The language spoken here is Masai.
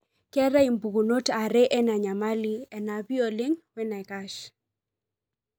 keetae impukunot are ena nyamal, enapii oleng wenaikash.